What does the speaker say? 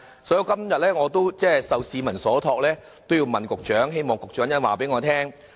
"所以我今天受市民所託，要問局長此事，希望局長稍後告訴我。